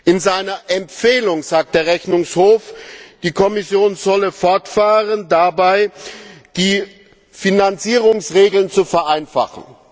In seiner Empfehlung sagt der Rechnungshof, die Kommission solle damit fortfahren, die Finanzierungsregeln zu vereinfachen.